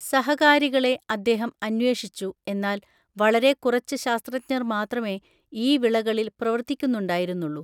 സഹകാരികളെ അദ്ദേഹം അന്വേഷിച്ചു എന്നാൽ വളരെ കുറച്ച് ശാസ്ത്രജ്ഞർ മാത്രമേ ഈ വിളകളിൽ പ്രവർത്തിക്കുന്നുണ്ടായിരുന്നുള്ളു .